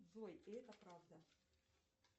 джой и это правда